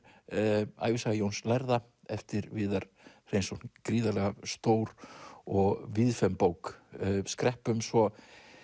ævisaga Jóns lærða eftir Viðar Hreinsson gríðarlega stór og bók skreppum svo